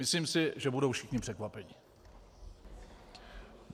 Myslím si, že budou všichni překvapeni.